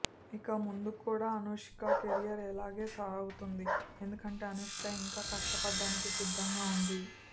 ఇక ముందుకూడా అనుష్క కెరీర్ ఇలాగే సాగుతుంది ఎందుకంటే అనుష్క ఇంకా కష్ట పడటానికి సిద్దంగా ఉంది